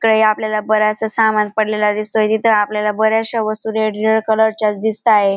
काही आपल्याला बरेचसे सामान पडलेला दिसतोय. तिथं आपल्याला बऱ्याचशा वस्तू रेड रेड कलर च्याच दिसताय.